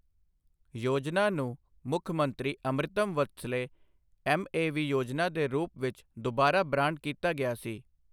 ਯੋਜਨਾ ਨੂੰ ਮੁੱਖਮੰਤਰੀ ਅੰਮ੍ਰਿਤਮ ਵਾਤਸਲਯ ਐੱਮਏਵੀ ਯੋਜਨਾ ਦੇ ਰੂਪ ਵਿੱਚ ਦੁਬਾਰਾ ਬ੍ਰਾਂਡ ਕੀਤਾ ਗਿਆ ਸੀ।